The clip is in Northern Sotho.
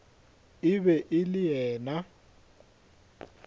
e be e le yena